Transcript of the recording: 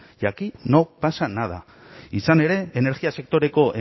y aquí no pasa nada izan ere energia sektoreko